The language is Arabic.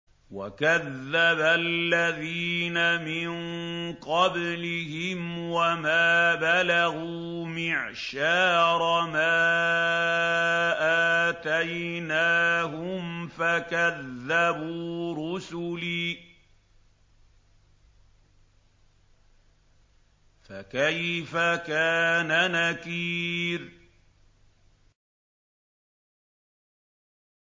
وَكَذَّبَ الَّذِينَ مِن قَبْلِهِمْ وَمَا بَلَغُوا مِعْشَارَ مَا آتَيْنَاهُمْ فَكَذَّبُوا رُسُلِي ۖ فَكَيْفَ كَانَ نَكِيرِ